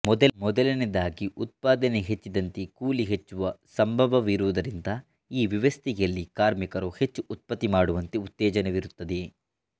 ಮೊದಲನೆಯದಾಗಿ ಉತ್ಪಾದನೆ ಹೆಚ್ಚಿದಂತೆ ಕೂಲಿ ಹೆಚ್ಚುವ ಸಂಭವವಿರುವುದರಿಂದ ಈ ವ್ಯವಸ್ಥೆಯಲ್ಲಿ ಕಾರ್ಮಿಕರು ಹೆಚ್ಚು ಉತ್ಪತ್ತಿ ಮಾಡುವಂತೆ ಉತ್ತೇಜನವಿರುತ್ತದೆ